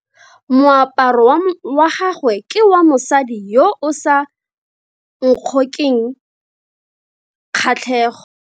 Moaparo wa gagwe ke wa mosadi yo o sa ngokeng kgatlhego.